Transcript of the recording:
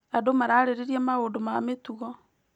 Andũ mararĩrĩria maũndũ ma mĩtugo.